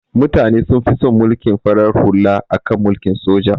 Mutane sun fi son mulkin farar hula akan mulkin soja